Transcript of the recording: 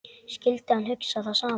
Skyldi hann hugsa það sama?